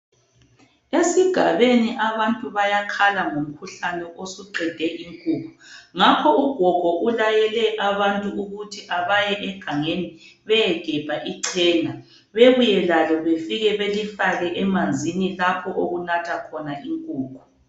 Esigabeni abantu bayakhala ngomkhuhlane osuqede inkukhu ngakho ugogo ulayele abantu ukuthi abaye egangeni beyegebha ichena bebuye lalo befike belifake emanzini lapho okunatha khona inkukhu.